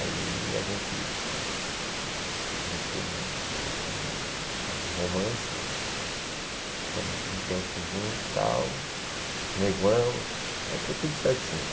Aí a gente a gente teve um um romance, ficamos um tempo juntos, tal, noivamos, aí foi tudo certinho.